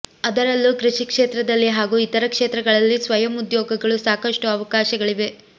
ಅದರಲ್ಲೂ ಕೃಷಿ ಕ್ಷೇತ್ರದಲ್ಲಿ ಹಾಗೂ ಇತರ ಕ್ಷೇತ್ರಗಳಲ್ಲಿ ಸ್ವಯಂ ಉದ್ಯೋಗಗಳು ಸಾಕಷ್ಟು ಅವಕಾಶಗಳಿವೆ